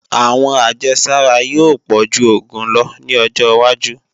Àwọn ajésára yóò pọ̀ju oògùn lọ ní ọjọwájú